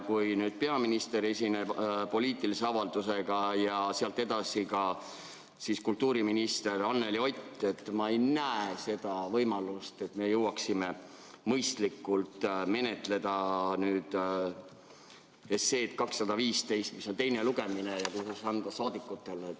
Kui nüüd peaminister esineb poliitilise avaldusega ja sealt edasi saab sõna kultuuriminister Anneli Ott, siis ma ei näe võimalust, et me jõuaksime mõistlikult menetleda seaduseelnõu 215 teist lugemist.